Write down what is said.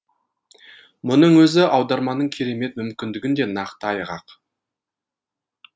мұның өзі аударманың керемет мүмкіндігін де нақты айғақ